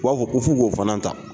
U b'a fɔ ko fu k'o fana ta.